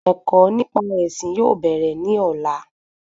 Ẹ̀kọ́ nípa ẹ̀sìn yóò bèrè ní ọ̀la